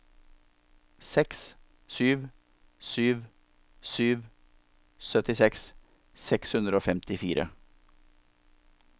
seks sju sju sju syttiseks seks hundre og femtifire